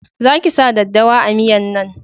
Za ki sa daddawa a miyan nan!